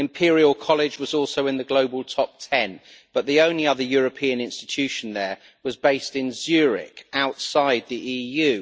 Imperial College was also in the global top 10, but the only other European institution there was based in Zurich, outside the EU.